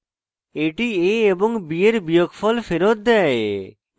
এটি a এবং b এর বিয়োগফল ফেরৎ দেয়